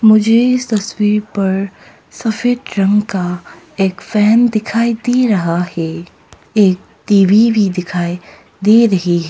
मुझे तस्वीर पर सफेद रंग का एक फैन दिखाई दे रहा है एक टी_वी भी दिखाएं दे रही है।